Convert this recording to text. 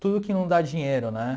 Tudo que não dá dinheiro, né?